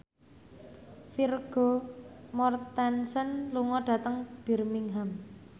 Vigo Mortensen lunga dhateng Birmingham